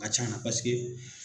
A ka ca, paseke.